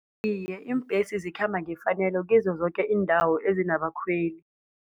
Iye, iimbhesi zikhamba ngefanelo kizo zoke iindawo ezinabakhweli.